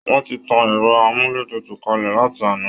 Wọ́n ti tan ẹrọ amúlétutu kalẹ láti àná